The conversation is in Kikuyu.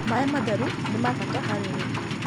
Maĩ matherũ mĩnabata harĩ ũrĩmĩ